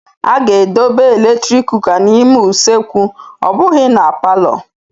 A ga-edobe eletrik kuka n'ime usekwu ọ bụghị na palọ.